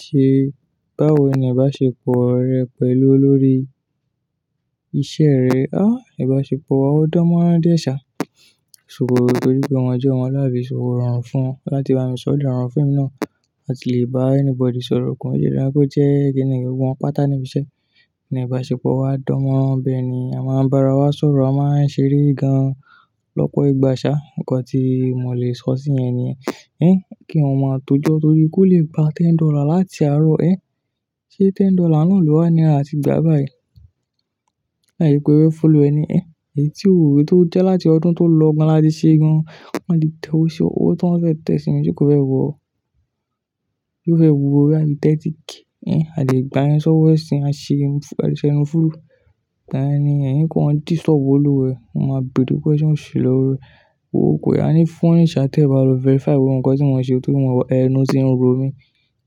Ṣé báwo ni abáṣepọ̀ rẹ pẹ̀lú olórí iṣẹ́ rẹ? Á, ìbáṣepọ̀ wa ò dánmọ́rán díẹ̀ sá, ṣùgbọ́n gbogbo nítorí pé wọ́n jẹ́ àwọn aláìṣòwò rọrùn fún un láti bá mi sọ̀rọ̀ ní àárín fíìmù náà, àti lè bá anybody sọ̀rọ̀ kàn. Òye náà kò jẹ́ èyí kí nìyẹn, gbogbo wọn pátá nibi iṣẹ́. Ìbáṣepọ̀ wa dánmọ́rán bẹ́ẹ̀ ni, a máa ń bára wa sọ̀rọ̀, a máa ń ṣeré gan lọ́pọ̀ ìgbà sá. Ǹkan tí mo lè sọ sí yẹn nìyẹn. Ẹ́, kí wọ́n má tó jọ́ torí kó lè gba ten dollar láti àárọ̀ ẹ. Ṣé ten dollar náà ni ọ̀dọ̀ wa ni a ti gbà báyìí? Làye pé ó fẹ́ follow ẹni ẹ̀. Èyí tí òwe tó jẹ́ láti ọdún tó lọ gan láti ṣe gan, wọ́n di tẹ o ṣe òwe tó ń fẹ́ tẹ sí mi tí kò fẹ́ wò ó. Yóó fẹ́ě wọ bóyá bíi tẹ́ẹ́tíkè Ẹ́, a lè gba yẹn sọ́wọ́ ẹ̀ sí i, a ṣe ẹnu fúùrù. Lẹ́ẹ̀nìyẹn ni pé wọ́n dì sọ́wọ́ lọ́wọ́ ẹ, wọ́n máa bée dúró pé ṣe wọ́n ṣì lọ́wọ́ rẹ. Wò ó pé a ní fún òníṣẹ́ tẹ̀ wá lọ verify wípé ǹkan tí wọ́n ṣe tó ní wọn mọ ẹnu tí ń ro mi.